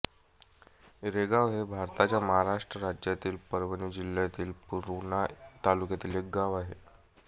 रेगाव हे भारताच्या महाराष्ट्र राज्यातील परभणी जिल्ह्यातील पूर्णा तालुक्यातील एक गाव आहे